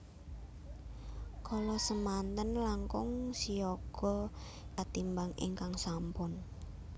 Kala samanten langkung siyaga katimbang ingkang sampun